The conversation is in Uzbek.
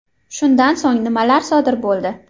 Shundan so‘ng nimadir sodir bo‘ldi.